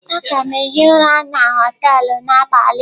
Aga m hie ụra na họtelu n'abalị a.